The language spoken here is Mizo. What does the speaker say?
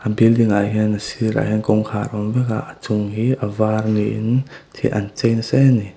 building ah hian a sirah hian kawngkhar a awm vek a a chung hi a var niin an chei nasa e a ni.